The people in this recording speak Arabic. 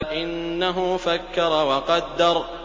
إِنَّهُ فَكَّرَ وَقَدَّرَ